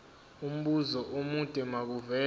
umbuzo omude makuvele